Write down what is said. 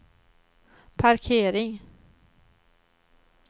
parkering